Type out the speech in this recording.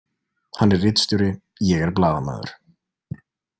Hann er ritstjóri, ég er blaðamaður.